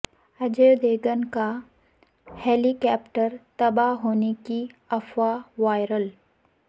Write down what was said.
اجے دیوگن کا helicopter تباہ ہونے کی افواہ وائرل